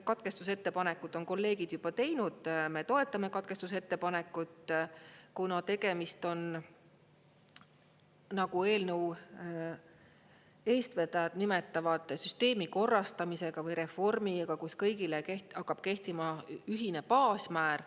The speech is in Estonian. Katkestusettepanekud on kolleegid juba teinud, me toetame katkestusettepanekut, kuna tegemist on, nagu eelnõu eestvedajad nimetavad, süsteemi korrastamisega või reformiga, kus kõigile hakkab kehtima ühine baasmäär.